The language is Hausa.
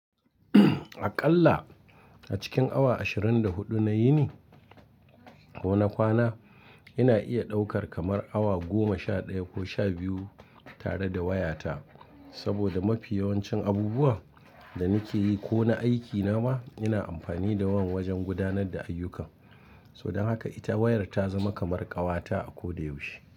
Aƙalla a cikin awa ashirin da huɗu na yini ko na kwana, ina iya ɗaukar kamar awa goma, sha ɗaya ko sha biyu tare da wayata. Saboda mafi yawancin abubuwan da nake yi ko na aikina ma ina amfani da wan wajen gudanar da ayyukan. To dan haka ita wayar ta zama kamar ƙawata a ko da yaushe.